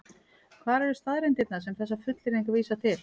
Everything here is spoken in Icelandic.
Hvar eru staðreyndirnar sem þessar fullyrðingar vísa til?